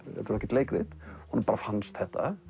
ekkert leikrit honum bara fannst þetta